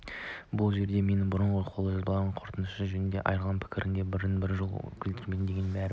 бұл жерде мен бұрынғы қолжазбаларымдағы қорқыныш жөнінде айтылған пікірден бірде бір жол үзінді келтірмеймін дегенмен бәрібір